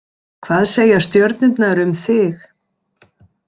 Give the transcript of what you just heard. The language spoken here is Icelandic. Hvað segja stjörnurnar um þig?